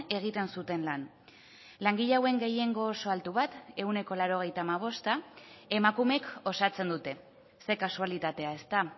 egiten zuten lan langile hauen gehiengo oso altu bat ehuneko laurogeita hamabosta emakumeek osatzen dute ze kasualitatea ezta